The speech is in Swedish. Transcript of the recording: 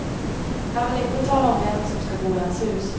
Han vill inte tala om vem som ska bo i hans hus.